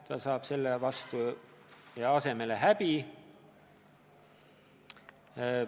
Ta saab selle asemele häbi.